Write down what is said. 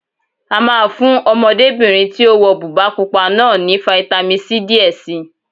A máa fún Ọmọdébìnrin tí ó wọ bùbá pupa náà ní fitamisi C díẹ̀ si